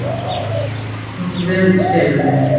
Hreinsun gengur vel í Skeifunni